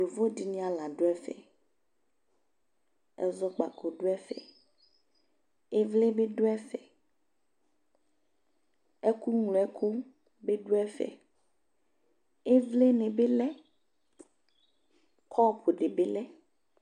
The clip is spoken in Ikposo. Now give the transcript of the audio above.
yovo di ni ala do ɛfɛ ɛzɔkpako do ɛfɛ ivli bi do ɛfɛ ɛko ŋlo ɛko bi do ɛfɛ ivli ni bi lɛ kɔpu ni bi lɛ